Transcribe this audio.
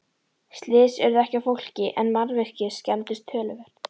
Slys urðu ekki á fólki en mannvirki skemmdust töluvert.